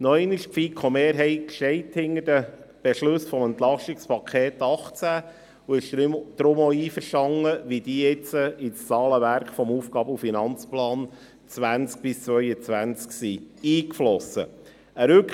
Noch einmal: Die FiKoMehrheit steht hinter den Beschlüssen des EP 2018 und ist deshalb auch damit einverstanden, wie diese in das Zahlenwerk des APF 2020–2022 eingeflossen sind.